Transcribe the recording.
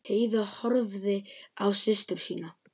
Heiða horfði á systur sína.